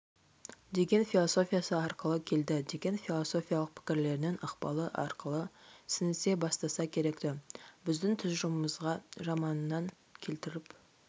деген философиясы арқылы келді деген философилық пікірлерінің ықпалы арқылы сіңісе бастаса керек-ті біздің тұжырымымызға романынан келтіріп